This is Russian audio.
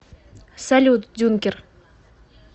салют дюнкер